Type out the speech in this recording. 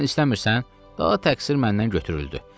Sən istəmirsən, daha təqsir məndən götürüldü.